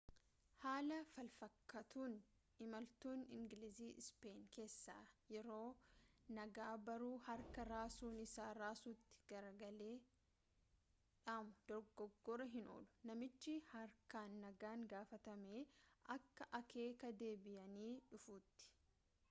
haala falfakkaatuun imaltuun ingilizii ispeenii keessa yeroo nagaa barruu harkaa raasuun isa raasutti galagalee dhaamu dogoggoruu hin oolu namichi haarkaan nagaan gaafatamee akka akeeka deebiyanii dhufuutti